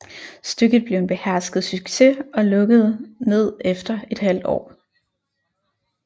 Stykket blev en behersket succes og lukkede ned efter ½ år